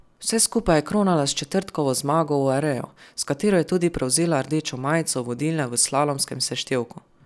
Vse skupaj je kronala s četrtkovo zmago v Areju, s katero je tudi prevzela rdečo majico vodilne v slalomskem seštevku.